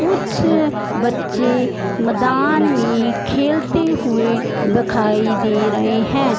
कुछ बच्चे मैदान में खेलते हुए दिखाई दे रहे हैं।